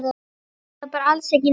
Eða bara alls ekki neitt?